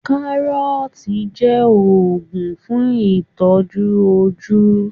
Kárọ́ọ̀tì jẹ́ òògùn fún ìtọ́jú ojú